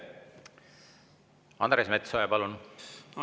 Andres Metsoja, palun!